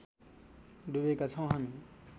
डुबेका छौँ हामी